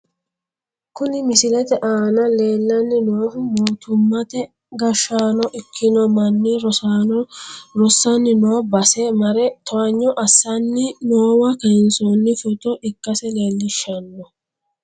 Kuni misilete aana leellanni noohu mootummate gashshaano ikkino manni rosaano rossanni noo base mare towaanyo assanni noowa kayinsoonni footo ikkase leellishshanno.